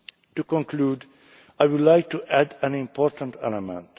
To conclude, I would like to add an important element.